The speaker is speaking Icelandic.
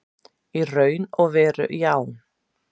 Í raun og veru já.